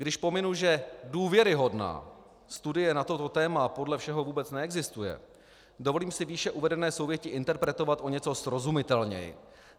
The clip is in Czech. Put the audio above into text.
Když pominu, že důvěryhodná studie na toto téma podle všeho vůbec neexistuje, dovolím si výše uvedené souvětí interpretovat o něco srozumitelněji.